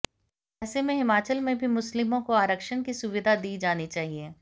ऐसे में हिमाचल में भी मुस्लिमों को आरक्षण की सुविधा दी जानी चाहिए